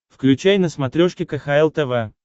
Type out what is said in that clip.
включай на смотрешке кхл тв